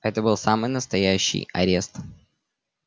это был самый настоящий арест